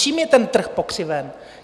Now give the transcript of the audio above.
Čím je ten trh pokřiven?